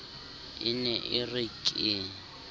e ne e re ke